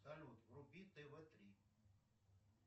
салют вруби тв три